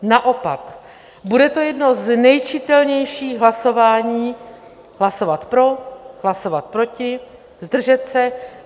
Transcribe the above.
Naopak, bude to jedno z nejčitelnějších hlasování: hlasovat pro, hlasovat proti, zdržet se.